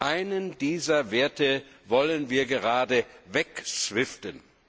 Einen dieser Werte wollen wir gerade wegswiften.